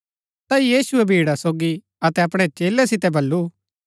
ता यीशुऐ भीड़ा सोगी अतै अपणै चेलै सितै बल्लू